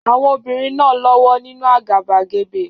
Àwọn obìnrin náà lọ́wọ́ nínú àgàbàgebè.